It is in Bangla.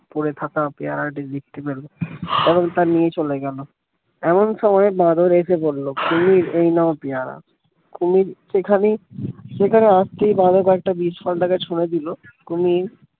পড়ে থাকা পেয়ারা টি দেখতে পেলো এবং তা নিয়ে চলে গেলো এমন সময় বাঁদর এসে বলল কুমির এই নাও পেয়ারা কুমির সেখানেই সেখানে আসতেই বাঁদর কয়েকটা বিজফল তাকে ছুড়ে দিল কুমির